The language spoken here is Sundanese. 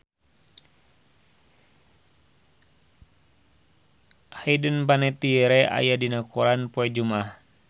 Hayden Panettiere aya dina koran poe Jumaah